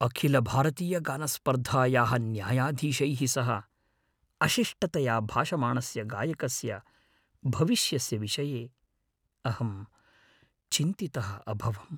अखिलभारतीयगायनस्पर्धायाः न्यायाधीशैः सह अशिष्टतया भाषमाणस्य गायकस्य भविष्यस्य विषये अहं चिन्तितः अभवम्।